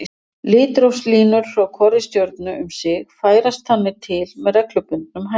Litrófslínur frá hvorri stjörnu um sig færast þannig til með reglubundnum hætti.